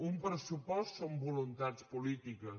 un pressupost són voluntats polítiques